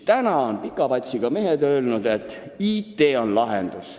Nüüd on pika patsiga mehed öelnud, et IT on kõige lahendus.